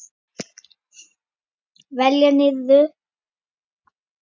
Velta niður.